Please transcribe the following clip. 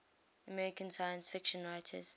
american science fiction writers